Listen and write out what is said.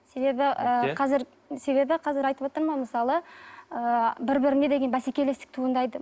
себебі ы қазір себебі қазір айтып отырмын ғой мысалы ыыы бір біріне деген бәсекелестік туындайды